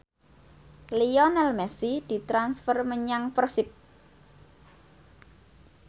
Lionel Messi ditransfer menyang Persib